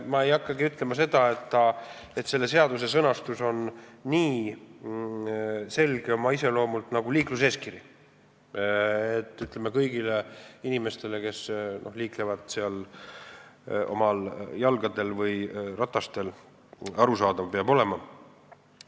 Ma ei hakka ütlema, et selle seaduse sõnastus on oma iseloomult nii selge nagu liikluseeskiri, mis peab kõigile inimestele, kes liiklevad oma jalgadel või ratastel, arusaadav olema.